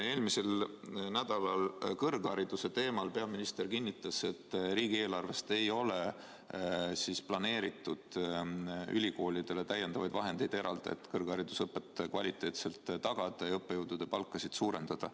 Eelmisel nädalal kõrghariduse teemal kõneldes peaminister kinnitas, et riigieelarvest ei ole planeeritud ülikoolidele täiendavaid vahendeid eraldada, et kvaliteetset kõrgharidusõpet tagada ja õppejõudude palka suurendada.